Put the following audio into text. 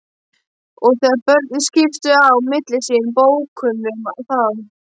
Og þegar börnin skiptu á milli sín bókunum þá